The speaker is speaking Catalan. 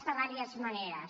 de diverses maneres